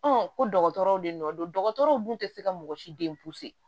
ko dɔgɔtɔrɔw de nɔ don dɔgɔtɔrɔw dun te se ka mɔgɔ si